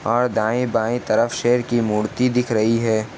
और दाएं बाएं तरफ शेर की मूर्ति दिख रही है।